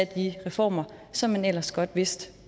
de reformer som man ellers godt vidste